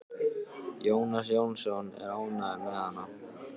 Jónas Jónsson er ánægður með hana.